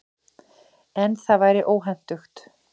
En það væri óhentugt.